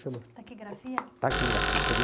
chama? Taquigrafia? Taquigrafia, você